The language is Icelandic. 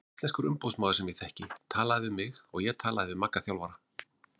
Íslenskur umboðsmaður sem ég þekki talaði við mig og ég talaði við Magga þjálfara.